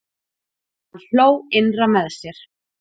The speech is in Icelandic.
Hann hló innra með sér.